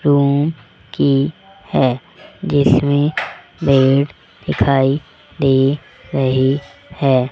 Room की है जिसमें पेड़ दिखाई दे रही है।